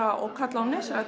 og kalla á